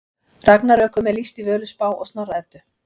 Ragnarökum er lýst í Völuspá og Snorra Eddu.